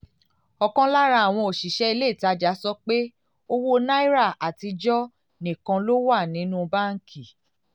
ọ̀kan lára àwọn òṣìṣẹ́ ilé ìtajà sọ pé owó náírà àtijọ́ nìkan ló wà nínú báńkì